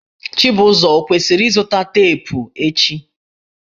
Chibuzo ọ kwesiri izụta teepụ echi?